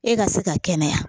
E ka se ka kɛnɛya